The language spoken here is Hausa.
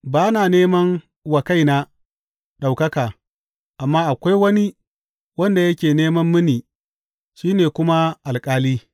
Ba na nema wa kaina ɗaukaka, amma akwai wani wanda yake neman mini, shi ne kuma alƙali.